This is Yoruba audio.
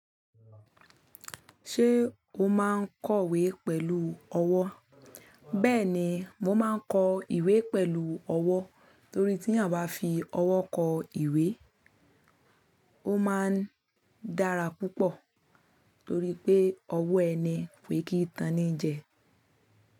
Ṣé o máa ń kọ ìwé pẹ̀lú ọwọ́? Bẹ́ẹ̀ni, mo máa ń kọ ìwé pẹ̀lú ọwọ́ torí tí eyan ba fi ọwọ́ kọ ìwé, ó máa ń dára púpọ̀ torí pé ọwọ́ ẹni ko kí i ntán ni í jẹ.